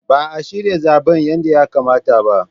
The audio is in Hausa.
Ba a shirya zaben yadda ya kamata ba.